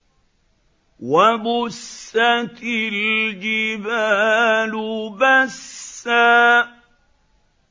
وَبُسَّتِ الْجِبَالُ بَسًّا